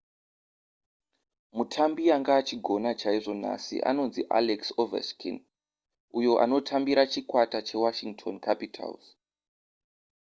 mutambi anga achigona chaizvo nhasi anonzi alex ovechkin uyo anotambira chikwata chewashington capitals